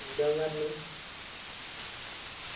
എന്നിട്ട് ഞാൻ പറഞ്ഞു